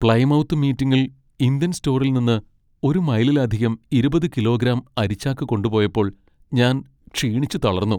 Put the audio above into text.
Plymouth മീറ്റിംഗിൽ Indian സ്റ്റോറിൽ നിന്ന് ഒരു മൈലിലധികം ഇരുപത് കിലോഗ്രാം അരിച്ചാക്ക് കൊണ്ടുപോയപ്പോൾ ഞാൻ ക്ഷീണിച്ച് തളർന്നു.